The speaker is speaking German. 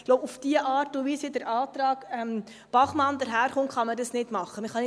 Ich glaube, auf die Art und Weise, wie der Antrag Bachmann daherkommt, kann man es nicht machen.